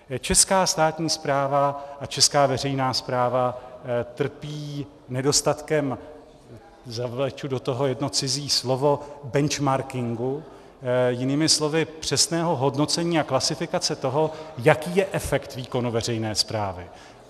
Česká státní správa a česká veřejná správa trpí nedostatkem, zavleču do toho jedno cizí slovo, benchmarkingu, jinými slovy přesného hodnocení a klasifikace toho, jaký je efekt výkonu veřejné správy.